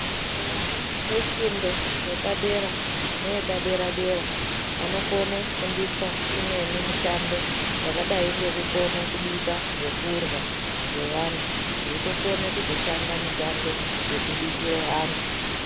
Vana vefundo yepadera neyepadera dera vanokone kufundiswe imweni mishando yakadai nekubika zvekurya zvevantu veikona kuzotoshanda mushando wekubikira vantu .